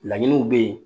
Laɲiniw bɛ ye